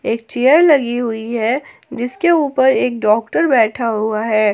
एक चेयर लगी हुई है जिसके ऊपर डॉक्टर बैठा हुआ है।